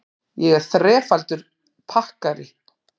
Ég er þrefaldur pakkari.